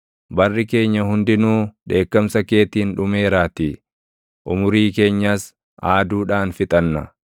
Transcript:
Barri keenya hundinuu dheekkamsa keetiin dhumeeraatii; umurii keenyas aaduudhaan fixanna.